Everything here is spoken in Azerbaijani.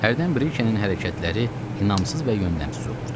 Hərdən Brikenin hərəkətləri inamsız və yöndəmsiz olurdu.